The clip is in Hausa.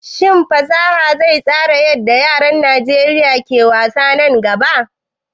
Shin fasaha zai tsara yadda yaran Najeriya ke wasa nan gaba?